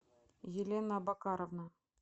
елена абакаровна